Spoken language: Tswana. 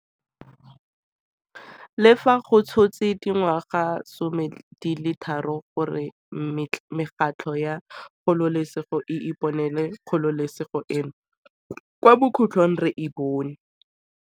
Le fa go tshotse dingwagasome di le tharo gore mekgatlho ya kgololesego e iponele kgololesego eno, kwa bokhutlhong re e bone.